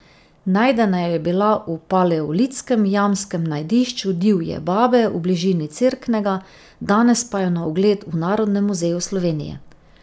Najdena je bila v paleolitskem jamskem najdišču Divje babe v bližini Cerknega, danes pa je na ogled v Narodnem muzeju Slovenije.